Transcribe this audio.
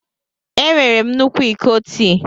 Enwere m nnukwu iko tii.